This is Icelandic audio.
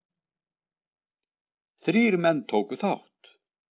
Þrír menn tóku þátt